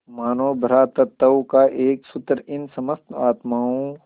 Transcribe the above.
मानों भ्रातृत्व का एक सूत्र इन समस्त आत्माओं